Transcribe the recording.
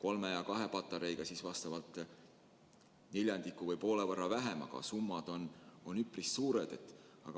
Kolme ja kahe patareiga pataljoni korral on kulu vastavalt neljandiku või poole võrra väiksem, aga summa on siiski üpris suur.